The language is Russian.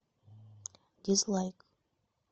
дизлайк